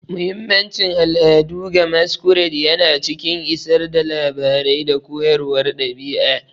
Muhimmancin al'adu ga Masquerades yana cikin isar da labarai da koyarwar ɗabi'a.